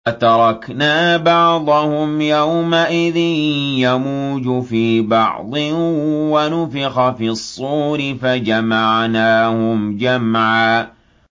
۞ وَتَرَكْنَا بَعْضَهُمْ يَوْمَئِذٍ يَمُوجُ فِي بَعْضٍ ۖ وَنُفِخَ فِي الصُّورِ فَجَمَعْنَاهُمْ جَمْعًا